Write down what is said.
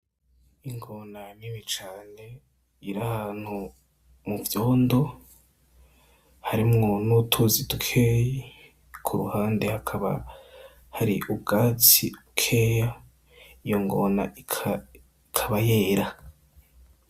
Ingona nini cane iri ahantu muvyondo, harimwo n'utuzi dukeyi. Ku ruhande hakaba hari ubwatsi bukeya. Iyo ngona ikaba yera.